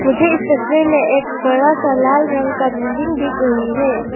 मुझे इस तस्वीर में एक बड़ा सा लाल रंग का बिल्डिंग दिख रही है।